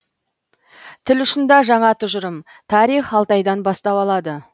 тіл ұшында жаңа тұжырым тарих алтайдан бастау алады